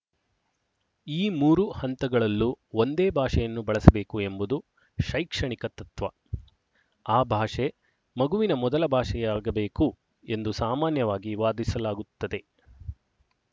ಈ ಮೂರು ಹಂತಗಳಲ್ಲೂ ಒಂದೇ ಭಾಷೆಯನ್ನು ಬಳಸಬೇಕು ಎಂಬುದು ಶೈಕ್ಷಣಿಕ ತತ್ತ್ವ ಆ ಭಾಷೆ ಮಗುವಿನ ಮೊದಲ ಭಾಷೆಯಾಗಬೇಕು ಎಂದು ಸಾಮಾನ್ಯವಾಗಿ ವಾದಿಸಲಾಗುತ್ತದೆ